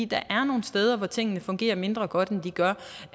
der er nogle steder hvor tingene fungerer mindre godt end de gør